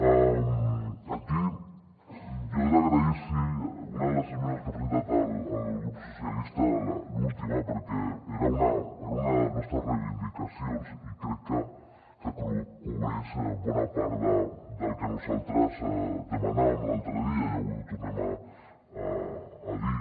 aquí jo he d’agrair los una de les esmenes que ha presentat el grup socialistes l’última perquè era una de les nostres reivindicacions i crec que cobreix bona part del que nosaltres demanàvem l’altre dia i avui ho tornem a dir